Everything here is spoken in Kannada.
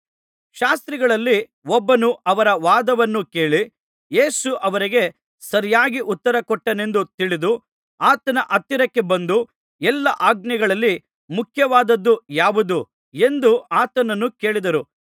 ಶಾಸ್ತ್ರಿಗಳಲ್ಲಿ ಒಬ್ಬನು ಅವರ ವಾದವನ್ನು ಕೇಳಿ ಯೇಸು ಅವರಿಗೆ ಸರಿಯಾಗಿ ಉತ್ತರ ಕೊಟ್ಟನೆಂದು ತಿಳಿದು ಆತನ ಹತ್ತಿರಕ್ಕೆ ಬಂದು ಎಲ್ಲಾ ಆಜ್ಞೆಗಳಲ್ಲಿ ಮುಖ್ಯವಾದ್ದದು ಯಾವುದು ಎಂದು ಆತನನ್ನು ಕೇಳಿದರು